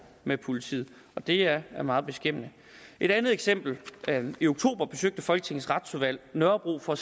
med politiet og det er meget beskæmmende et andet eksempel i oktober besøgte folketingets retsudvalg nørrebro for at